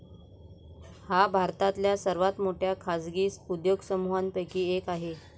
हा भारतातल्या सर्वात मोठ्या खाजगी उद्योगसमूहांपैकी एक आहे.